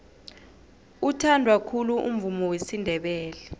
uthandwa khulu umvumo wesindebele